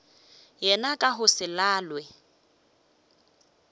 yena ka go se lalwe